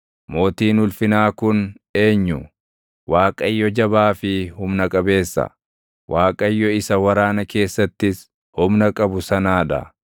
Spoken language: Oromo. Mootiin ulfinaa kun eenyu? Waaqayyo jabaa fi humna qabeessa, Waaqayyo isa waraana keessattis humna qabu sanaa dha.